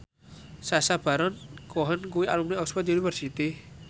Sacha Baron Cohen kuwi alumni Oxford university